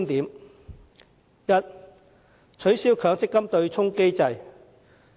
第一，取消強制性公積金對沖機制。